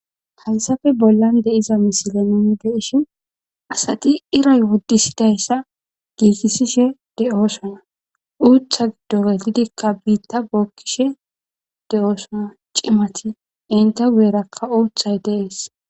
Haysappe bollan baggan de'iza misile nuni be'ishin asati iiray wodethidaysa giigisishe de'osona. Uutha giddonka biita bookishe de'osona cimati. Entta guyeraka uuthay dees.